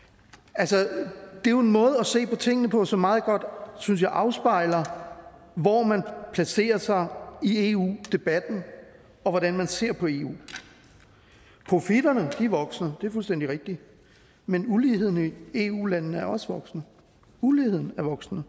altså det er jo en måde at se på tingene på som meget godt synes jeg afspejler hvor man placerer sig i eu debatten og hvordan man ser på eu profitterne vokser det er fuldstændig rigtigt men uligheden i eu landene er også voksende uligheden er voksende